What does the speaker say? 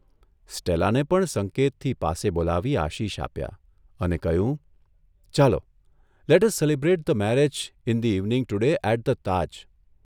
સ્ટેલાને પણ સંકેતથી પાસે બોલાવી આશિષ આપ્યા અને કહ્યું, ' ચાલો, let us celebrate the marriage in the evening today at the Taj.